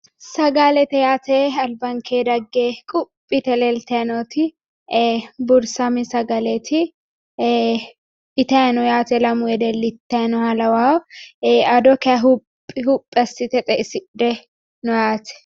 Sagalete yaate albanke dagge quphi yite leeltayi nooti ee buurisame sagaleeti itayi no yaate lamu wedelli ittayi nooha lawayo ado kayee huphi huphi assite xe"isidhe no yaate